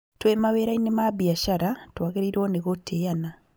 Twĩ mawĩrainĩ ma biashara twagĩrĩirwo nĩ gũtĩana